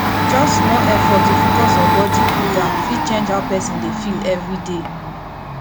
just small effort to focus on body cooldown fit change how person dey feel everyday